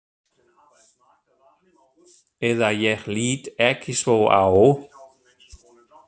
Eða ég lít ekki svo á.